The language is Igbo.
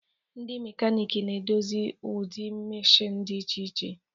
Ndị mekaniiki na-edozi ụdị meshịn dị iche iche